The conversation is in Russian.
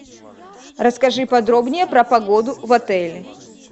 расскажи подробнее про погоду в отеле